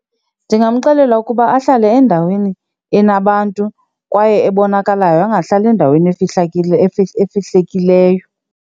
Ndingamxelela ukuba ahlale endaweni enabantu kwaye ebonakalayo, angahlali endaweni efihlakeleyo.